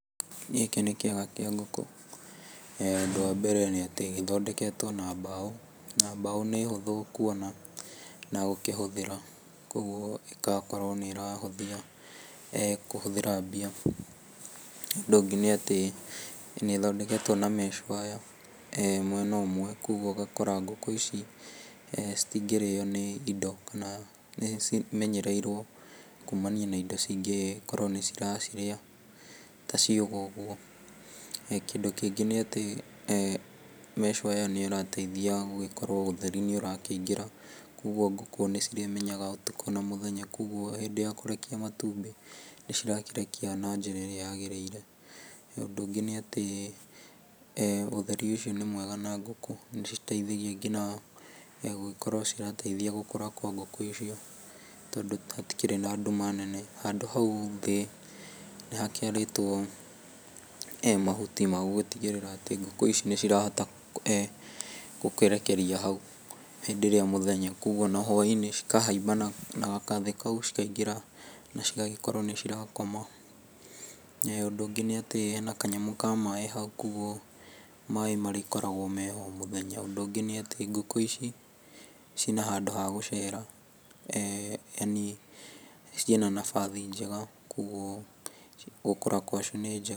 Gĩkĩ nĩ kĩaga kĩa ngũkũ na ũndũ wa mbere, nĩ atĩ gĩthondeketwo na mbaũ na mbaũ nĩ hũthũ kuona na gũkĩhũthĩra, koguo ĩgakorwo nĩrakĩhũthia kũhũthĩra mbia. Ũndũ ũngĩ nĩ atĩ nĩthondeketwo na mesh-wire mwena ũmwe koguo ũgakora ngũkũ ici citingĩrĩyo nĩ indo kana nĩcimenyereirwo kumania na indo cingĩkorwo nĩcira cirĩa ta cihũ ũguo. Kĩndũ kĩngĩ nĩ atĩ mesh wire ĩyo nĩrateithia gũkorwo ũtheri nĩũrakĩingĩra, koguo ngũkũ nĩcirĩmenyaga ũtukũ na mũthenya koguo hĩndĩ ya kũrekia matumbĩ nĩcirakĩrekia na njĩra ĩrĩa yagĩrĩire. Ũndũ ũngĩ nĩ atĩ ũtheri ũcio nĩ mwega na ngũkũ nĩ ũciteithagia nginya atĩ nĩiraciteithia nginya gũkũra kwa ngũkũ icio tondũ hatikĩrĩ na nduma nene. Handũ hau thĩ nĩhakĩarĩtwo mahuti ma gũtigĩrĩra atĩ ngũkũ ici nĩcirahota gũkĩrekeria hau hĩndĩ ĩrĩa mũthenya, koguo hwa-inĩ cikahaimba na gakathĩ kau cikaingĩra na cigagĩkorwo nĩcirakoma. Ũndũ ũngĩ nĩ atĩ hena kanyamũ ka maaĩ hau, koguo maai marĩkoragwo meho o mũthenya. Ũndũ ũngĩ nĩ atĩ ngũkũ ici ciĩna handũ ha gũcera, yaani cĩ na nabathi njega, koguo gũkũra gwacio nĩ njega.